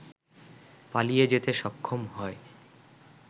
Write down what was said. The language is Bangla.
পালিয়ে যেতে সক্ষম হয়